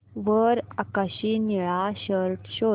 वर आकाशी निळा शर्ट शोध